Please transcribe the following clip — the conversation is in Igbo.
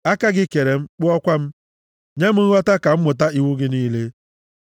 Aka gị kere m, kpụọkwa m; nye m nghọta ka m mụta iwu gị niile.